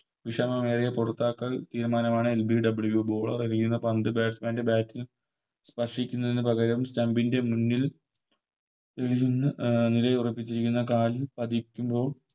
വിഷമമായ പുറത്താക്കൽ തീരുമാനമാ LBWBowler എറിയുന്ന പന്ത് Batsman ൻറെ Bat ൽ സ്പർശിക്കുന്നതിനു പകരം Stump ൻറെ മുന്നിൽ നിന്ന് നിലയുറപ്പിച്ചിരിക്കുന്ന കാലിൽ പതിക്കുമ്പോൾ